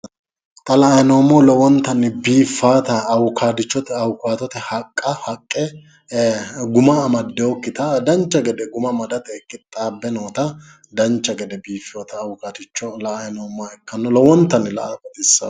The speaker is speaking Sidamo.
Xa la'anni noommohu lowontanni biiffata awukaadote haqqe guma amaddewokkita dancha gede guma amadate qixxaabbe noota dancha gede biiffewota awukaticho la'anni noommo ikkanno lowontanni la'ate baxissanno.